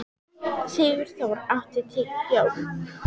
Sigurþór, áttu tyggjó?